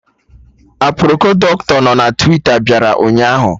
Aproko Dọkịta nọ na Twita bịara ụnyaahụ